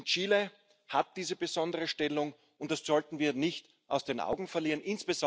Chile hat diese besondere Stellung, und das sollten wir nicht aus den Augen verlieren.